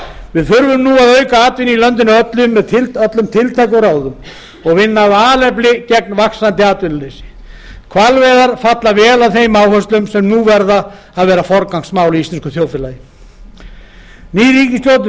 við þurfum nú að auka atvinnu í landinu með öllum tiltækum ráðum og vinna af alefli gegn vaxandi atvinnuleysi hvalveiðar falla vel að þeim áherslum sem nú verða að vera forgangsmál í íslensku þjóðfélagi ný ríkisstjórn